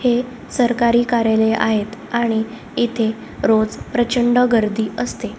सगळ्यात वरचा टोकाला बगा गुलाबी रंग मारलेला दिसत आहे.